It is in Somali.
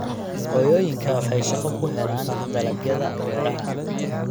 Hooyooyinku waxay shaqo ku helaan dalagyada beeraha.